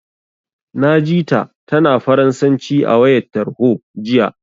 Na ji ta, tana Faransanci a wayar tarho, jiya.